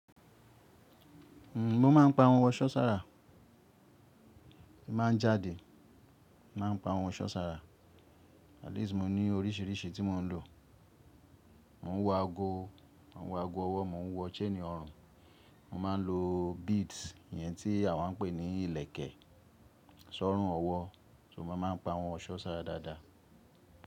Mo maá n pa ọhun ọ̀ṣọ́ ṣara. Ti n ba n jáde, màa n pa ọhun ọ̀ṣọ́ ṣara. At least mo ni oríṣiríṣi ti mò ń lò. Mò ń wọ aago, mò ń wọ aago ọwọ́, mò ń wọ chain ọrùn, mo máa n lò beads iyẹn tí àwà ń pè ní ilẹ̀kẹ̀, sọ̀rùn ọwọ́, ṣò mo máa ń pa ọhun ọ̀ṣọ́ ṣara dáadáa.